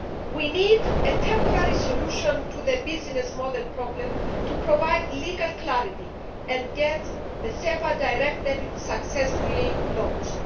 We need a temporary solution to the business model problem to provide legal clarity and get the SEPA Direct Debit successfully launched.